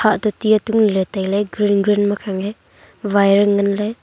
hah toh ti atung lah tai ley green green makhang e wire ngan ley.